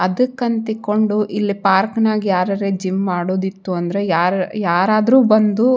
ಅದಕ್ಕಿಂತ ಇಟ್ಕೊಂಡ್ ಇಲ್ಲಿ ಪಾರ್ಕ್ನಾಗ್ ಯಾರಾರ್ ಜಿಮ್ ಮಾಡೋದಿತ್ ಅಂದ್ರೆ ಯಾರ್ ಯಾರದ್ರು ಬಂದು --